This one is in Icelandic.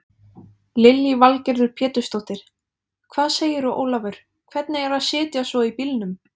Lillý Valgerður Pétursdóttir: Hvað segirðu Ólafur, hvernig er að sitja svo í bílnum?